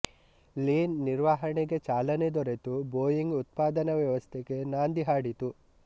lean ನಿರ್ವಹಣೆಗೆ ಚಾಲನೆ ದೊರೆತು ಬೋಯಿಂಗ್ ಉತ್ಪಾದನಾ ವ್ಯವಸ್ಥೆಗೆ ನಾಂದಿ ಹಾಡಿತು